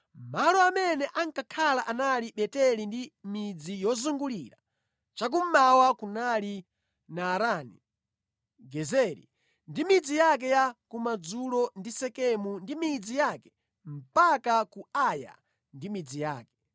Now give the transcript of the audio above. Malo amene ankakhala anali Beteli ndi midzi yozungulira, cha kummawa kunali Naarani, Gezeri ndi midzi yake ya kumadzulo ndi Sekemu ndi midzi yake mpaka ku Aya ndi midzi yake.